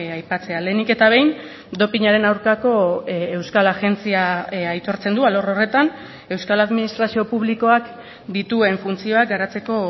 aipatzea lehenik eta behin dopinaren aurkako euskal agentzia aitortzen du alor horretan euskal administrazio publikoak dituen funtzioak garatzeko